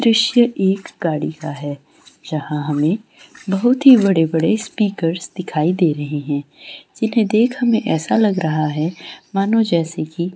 दृश्य एक गाड़ी का है जहां हमें बहुत ही बड़े-बड़े स्पीकर्स दिखाई दे रहै हैंजिन्हैं देख हमें ऐसा लग रहा है मानो जैसे की --